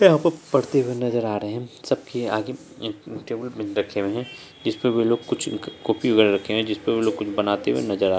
यहाँ पढ़ते हुए नजर आ रहे हैं सबके आगे एक टेबुल भी रखे हुए हैं जिसपे वे लोग कुछ कुकिंग कर रखे हुए हैं जिसपे वो लोग कुछ बनाते हुए नजर आ --